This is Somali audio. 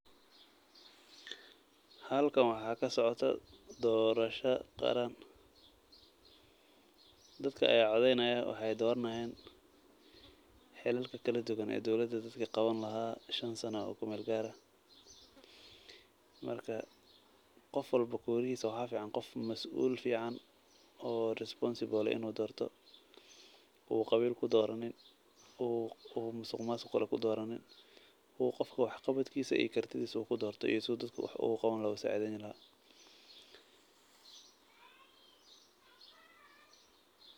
Halkan waxaa ka socoto doorosho qaran. Dadka ayaa codeynaya. Waxaay dooranayaan hilalka kala duwan ee dowlada dadka qaban lahaa shan sano oo kumeel gaar ah. Marka, qof walbo kurihiisa waxaa ficaan qof masuul ficaan oo responsible ah inuu doorto uu qabiil ku dooranin uu uu musuqmaasuq kale ku dooranin uu qofka wax qabadkiisa iyo kartidiisa ku doorto ee si dadka wax ugu qaban lahaa u saaideen lahaa.